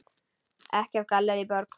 Ekki af Gallerí Borg.